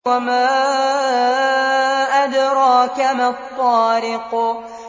وَمَا أَدْرَاكَ مَا الطَّارِقُ